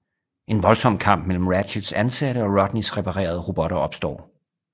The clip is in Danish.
En voldsom kamp mellem Ratchets ansatte og Rodneys reparerede robotter opstår